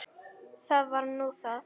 Það var nú það.